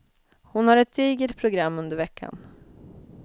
Hon har ett digert program under veckan.